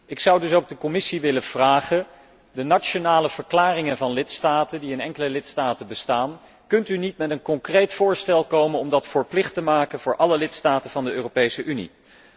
Ik zou dus ook de Commissie willen vragen met betrekking tot de nationale verklaringen van lidstaten die in enkele lidstaten bestaan kunt u niet met een concreet voorstel komen om deze verplicht te maken voor alle lidstaten van de Europese Unie?